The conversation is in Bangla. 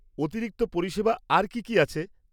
অতিরিক্ত পরিষেবা আর কী কী আছে?